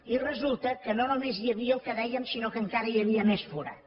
i resulta que no només hi havia el que dèiem sinó que encara hi havia més forat